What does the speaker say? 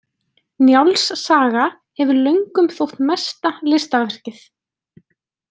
Njáls saga hefur löngum þótt mesta listaverkið.